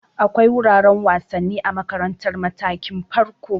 Akwai wuraren wasanni a makarantar matakin farko.